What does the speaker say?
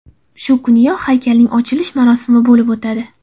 Shu kuniyoq haykalning ochilish marosimi bo‘lib o‘tadi.